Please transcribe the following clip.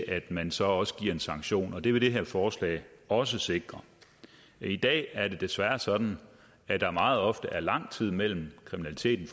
at man så også giver en sanktion og det vil det her forslag også sikre i dag er det desværre sådan at der meget ofte er lang tid mellem at kriminaliteten